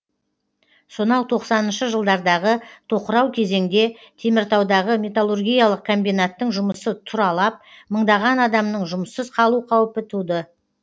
сонау тоқсаныншы жылдардағы тоқырау кезеңде теміртаудағы металлургиялық комбинаттың жұмысы тұралап мыңдаған адамның жұмыссыз қалу қаупі туды